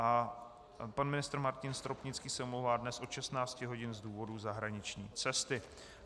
A pan ministr Martin Stropnický se omlouvá dnes od 16 hodin z důvodu zahraniční cesty.